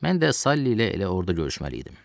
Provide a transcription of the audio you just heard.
Mən də Sally ilə elə orda görüşməli idim.